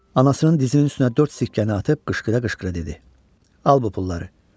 Anasının dizinin üstünə dörd sikkəni atıb qışqıra-qışqıra dedi: "Al bu pulları.